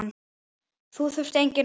Þá þurfti engin orð.